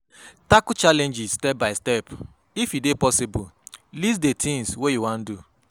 Tackle challenge step by step, if e dey possible list di thing wey you wan do